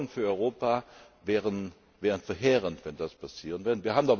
Die Folgen für Europa wären verheerend, wenn das passieren